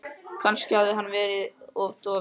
Kannski hafði hann verið of dofinn.